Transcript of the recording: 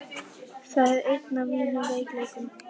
Það er einn af mínum veikleikum.